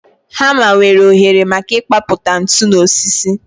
Hama nwere oghere maka ịkpapụta ntu n'osisi